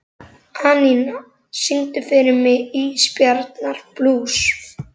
Anína, syngdu fyrir mig „Ísbjarnarblús“.